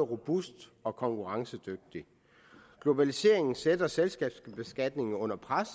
robust og konkurrencedygtig globaliseringen sætter selskabsbeskatningen under pres